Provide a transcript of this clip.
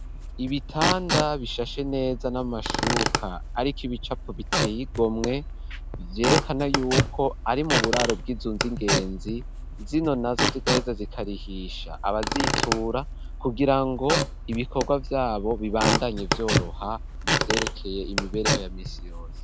Ibitanda bishashe neza n'amashuka ariko ibicapo biteye igomwe, vyerekana yuko ari mu buraro bw'inzu z'ingenzi zino na zo zigaheza zikarihisha abazitura, kugirango ibikorwa vyabo bibandanye vyoroha mu vyerekeye imibereho ya misi yose.